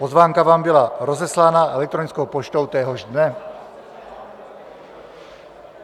Pozvánka vám byla rozeslána elektronickou poštou téhož dne.